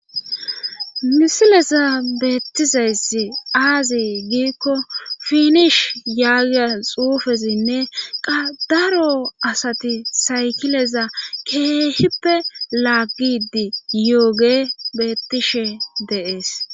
Misileza beettizaysi aazi giikko finish yaagiya xuufezinne qa daro asati saykileza keehippe laaggidi yooge beettishe de'ees.